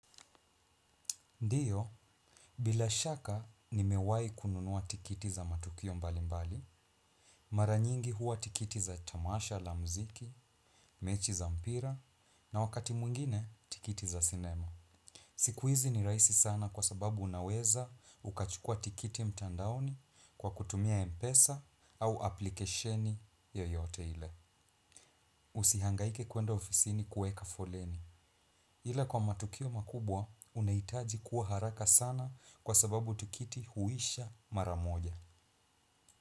Ndiyo bila shaka nimewahi kununua tikiti za matukio mbali mbali mara nyingi huwa tikiti za tamasha la muziki mechi za mpira na wakati mwingine tikiti za sinema. Siku hizi ni rahisi sana kwa sababu unaweza ukachukua tikiti mtandaoni kwa kutumia mpesa au aplikesheni yoyote ile. Usihangaike kwenda ofisini kueka foleni ila kwa matukio makubwa unahitaji kuwa haraka sana kwa sababu tikiti huisha mara moja.